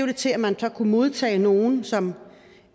det til at man så kunne modtage nogle som